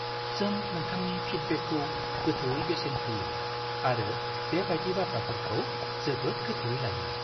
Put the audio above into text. जों नोंथांनि फिडबेकखौ गोथौवै बेसेन होयो आरो बे बायदि बाथ्राफोरखौ जोबोद गोथौवै लायो।